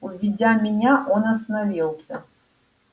увидя меня он остановился